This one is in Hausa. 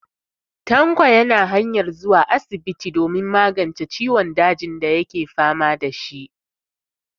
Tanko na hanyar zuwa asibiti domin magance ciwon dajin dake fama da shi.